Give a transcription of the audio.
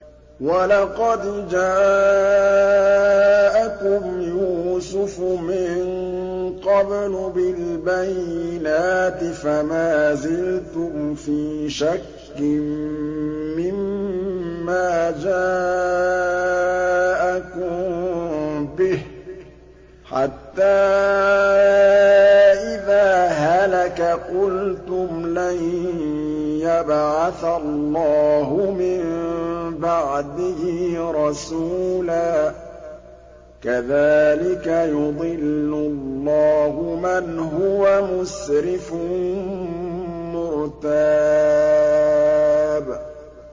وَلَقَدْ جَاءَكُمْ يُوسُفُ مِن قَبْلُ بِالْبَيِّنَاتِ فَمَا زِلْتُمْ فِي شَكٍّ مِّمَّا جَاءَكُم بِهِ ۖ حَتَّىٰ إِذَا هَلَكَ قُلْتُمْ لَن يَبْعَثَ اللَّهُ مِن بَعْدِهِ رَسُولًا ۚ كَذَٰلِكَ يُضِلُّ اللَّهُ مَنْ هُوَ مُسْرِفٌ مُّرْتَابٌ